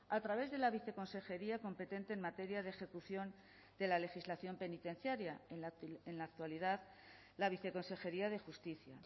a través de la viceconsejería competente en materia de ejecución de la legislación penitenciaria en la actualidad la viceconsejería de justicia